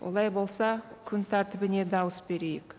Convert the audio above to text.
олай болса күн тәртібіне дауыс берейік